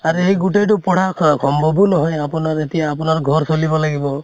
আৰু এই গোটেতো পঢ়া সম্ভৱো নহয় । আপোনাৰ এতিয়া আপোনাৰ ঘৰ চলিব লাগিব